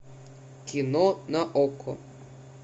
кино на окко